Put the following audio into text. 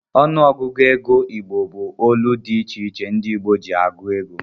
Ọnụ ọgụgụ ego igbo bu olu di iche iche ndi igbo ji agụ ego.